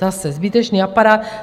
Zase zbytečný aparát.